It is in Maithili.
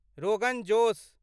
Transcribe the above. रोगन जोश